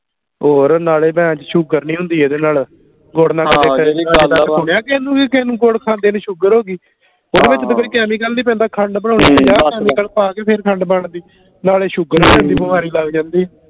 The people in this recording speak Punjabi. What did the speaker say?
ਹੋਰ ਨਾਲੇ ਸ਼ੂਗਰ ਨੀ ਹੁੰਦੀ ਇਹਦੇ ਨਾਲ ਗੁੜ ਨਾਲ ਕਦੀ ਸੁਣਿਆ ਕਿਹੇ ਨੂੰ ਕਿ ਕਿਹੇ ਨੂੰ ਗੁੜ ਖਾਂਦੇ ਨੂੰ ਸ਼ੂਗਰ ਹੋ ਗਈ ਓਹਦੇ ਵਿਚ ਤਾ ਕੋਈ chemical ਨੀ ਪੈਂਦਾ ਖੰਡ ਬਣਾਉਣੀ ਆ chemical ਪਾ ਕੇ ਫਿਰ ਖੰਡ ਬਣਦੀ ਨਾਲੇ ਸ਼ੂਗਰ ਦੀ ਬਿਮਾਰੀ ਲਗ ਜਾਂਦੀ